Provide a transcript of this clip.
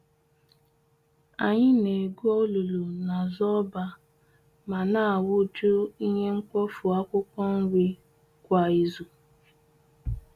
Anyị na-egwu olulu n'azụ ọba ma na awu-ju ihe mkpofu akwụkwọ nri kwa izu